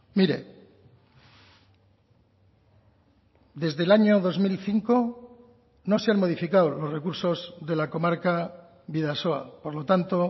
mire desde el año dos mil cinco no se han modificado los recursos de la comarca bidasoa por lo tanto